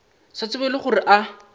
sa tsebego le gore a